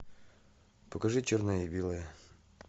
покажи черное и белое